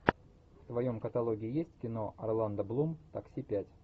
в твоем каталоге есть кино орландо блум такси пять